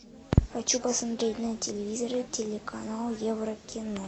хочу посмотреть на телевизоре телеканал еврокино